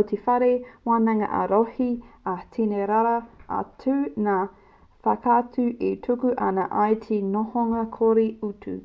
o te whare wānanga ā-rohe ā i tini rawa atu ngā whakautu e tuku ana i te nohonga kore utu